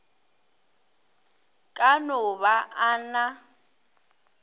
ka no ba a na